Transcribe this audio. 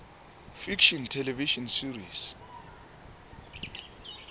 fiction television series